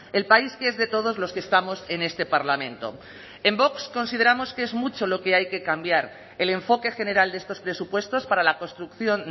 el país que es de todos los que estamos en este parlamento en vox consideramos que es mucho lo que hay que cambiar el enfoque general de estos presupuestos para la construcción